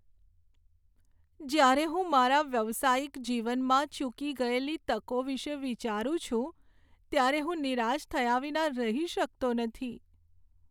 જ્યારે હું મારા વ્યાવસાયિક જીવનમાં ચૂકી ગયેલી તકો વિશે વિચારું છું ત્યારે હું નિરાશ થયા વિના રહી શકતો નથી.